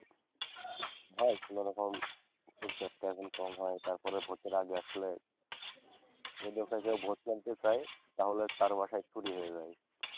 যদি ওকে কেউ ভোট কেন্দ্রে যায় তাহলে তার বাসায় চুরি হয়ে যায়।